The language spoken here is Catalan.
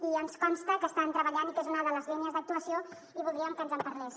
i ens consta que estan treballant i que és una de les línies d’actuació i voldríem que ens en parlés